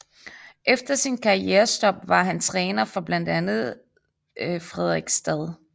Efter sit karrierestop var han træner for blandt andet Fredrikstad